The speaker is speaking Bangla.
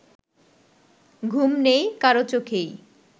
ঘুম নেই কারো চোখেই